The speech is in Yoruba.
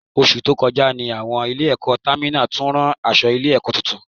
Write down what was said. Oṣù tó kọjá ní àwọn Ilé-ẹ̀kọ́ Tèmídire tún ran aṣọ Ilé-ẹ̀kọ́ tuntun